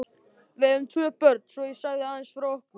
Við eigum tvö börn, svo ég segi aðeins frá okkur.